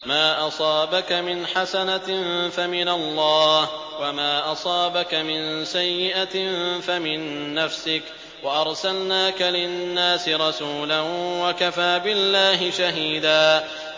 مَّا أَصَابَكَ مِنْ حَسَنَةٍ فَمِنَ اللَّهِ ۖ وَمَا أَصَابَكَ مِن سَيِّئَةٍ فَمِن نَّفْسِكَ ۚ وَأَرْسَلْنَاكَ لِلنَّاسِ رَسُولًا ۚ وَكَفَىٰ بِاللَّهِ شَهِيدًا